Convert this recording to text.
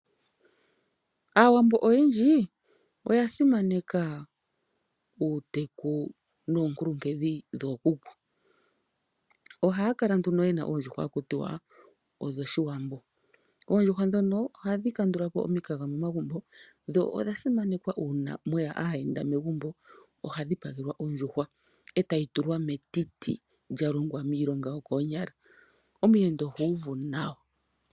Aawambo oyendji oya simaneka uuteku noonkuluhedhi dhookuku. Ohaa kala nduno yena oondjuhwa haku ti odhOshiwambo. Oondjuhwa dhono ohadhi kandula po omikaga momagumbo, dho odha simanekwa uuna mweya aayenda megumbo, ohaa dhipagelwa ondjuhwa e ta yi tulwa metiti lyalongwa miilonga yokoonyala. Omuyenda oha uvu ihe nawa.